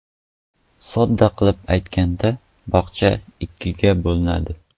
Sodda qilib aytganda, bog‘cha ikkiga bo‘linadi.